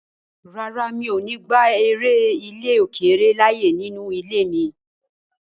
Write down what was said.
Rárá, mi ò ní gba eré ilè-òkèrè láyè nínú ilé mi.